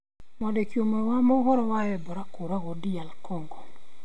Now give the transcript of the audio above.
Mwandiki ũmwe wa mohoro wa Ebola kũũragwo DR Congo